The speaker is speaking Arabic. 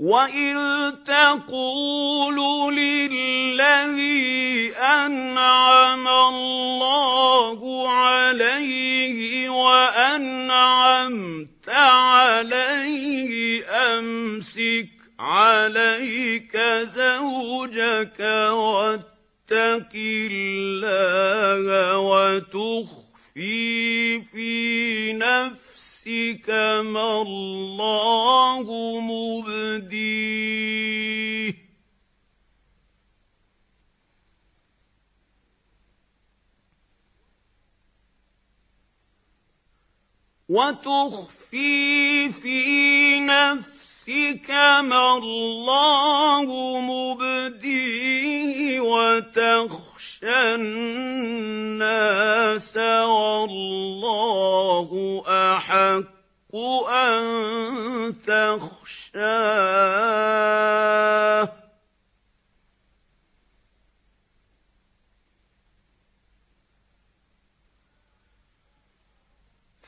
وَإِذْ تَقُولُ لِلَّذِي أَنْعَمَ اللَّهُ عَلَيْهِ وَأَنْعَمْتَ عَلَيْهِ أَمْسِكْ عَلَيْكَ زَوْجَكَ وَاتَّقِ اللَّهَ وَتُخْفِي فِي نَفْسِكَ مَا اللَّهُ مُبْدِيهِ وَتَخْشَى النَّاسَ وَاللَّهُ أَحَقُّ أَن تَخْشَاهُ ۖ